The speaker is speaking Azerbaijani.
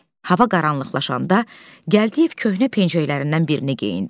Hava qaranlıqlaşanda, Gəldiyev köhnə pencəklərindən birini geyindi.